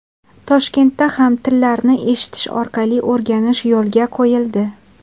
Toshkentda ham tillarni eshitish orqali o‘rganish yo‘lga qo‘yildi.